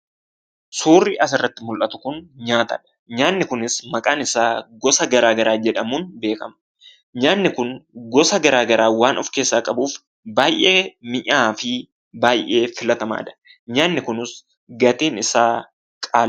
Suurri asirratti mul'atu kun nyaatadha. Nyaanni kunis maqaan isaa gosa garaa garaa jedhamuun beekama. Nyaanni kun gosa garaa garaa waan of keessaa qabuuf, baay'ee minyaa'aafi baay'ee filatamaadha. Nyaanni kunis gatiin isaa qaaliidha.